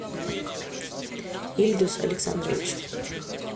ильдус александрович